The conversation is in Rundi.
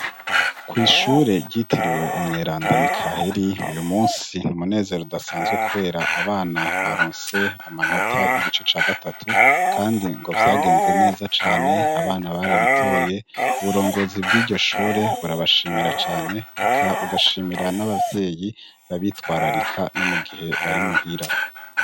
Kw' ishure ryitiriwe umweranda Mikaheri, uyu munsi wari umunezero udasanzwe kubera abana baronse amanota y'igice ca gatatu, kandi ngo vyagenze neza cane abana barabitoye uburongozi bw'iryo shure ,burabashimira cane, eka bugashimira n'abavyeyi babitwararika no mugihe bari muhira.